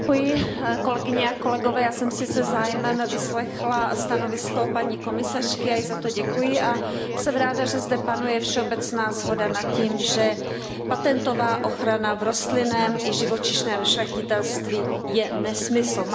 Paní předsedající, já jsem si se zájmem vyslechla stanovisko paní komisařky, já jí za to děkuji. Jsem ráda, že zde panuje všeobecná shoda nad tím, že patentová ochrana v rostlinném i živočišném šlechtitelství je nesmysl.